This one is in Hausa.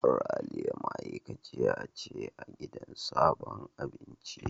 Ralia ma'aikaciya ce a sabon gidan abincin.